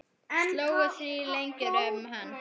Slógust þrír lengi um hann.